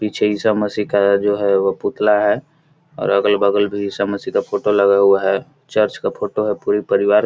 पीछे ईशा-मसीह का जो है पुतला है और अगल-बगल भी ईशा मासीह का फोटो लगा हुआ है चर्च का फोटो है पूरे परिवार --